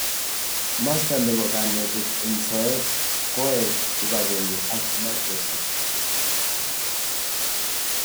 Masta nebo kanetet eng soet koae kipagenge ak microsoft